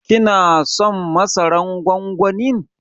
Ki na son masaran gwangwanin?